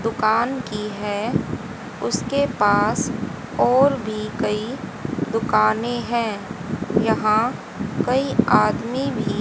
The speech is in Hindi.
दुकान की है उसके पास और भी कई दुकानें है यहां कई आदमी भी--